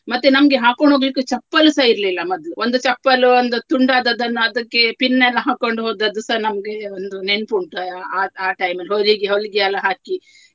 ಮತ್ತೆ ನಮ್ಗೆ ಹಾಕ್ಕೊಂಡು ಹೋಗ್ಲಿಕ್ಕೆ ಚಪ್ಪಲುಸ ಇರ್ಲಿಲ್ಲ ಮೊದ್ಲು. ಒಂದು ಚಪ್ಪಲು ಒಂದು ತುಂಡು ಆದದನ್ನ ಅದಕ್ಕೆ pin ಎಲ್ಲಾ ಹಾಕ್ಕೊಂಡು ಹೋದದ್ದುಸ ನಮ್ಗೆ ಒಂದು ನೆನ್ಪ್ ಉಂಟು ಆಹ್ ಆಹ್ ಆಹ್ time ಅಲ್ಲಿ ಹೊಲಿಗೆ ಹೊಲಿಗೆ ಎಲ್ಲ ಹಾಕಿ.